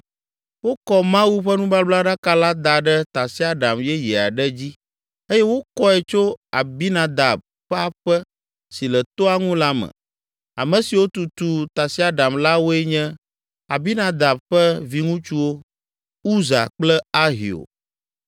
Wokɔ Mawu ƒe nubablaɖaka la da ɖe tasiaɖam yeye aɖe dzi eye wokɔe tso Abinadab ƒe aƒe si le toa ŋu la me. Ame siwo tutu tasiaɖam la woe nye Abinadab ƒe viŋutsuwo, Uza kple Ahio.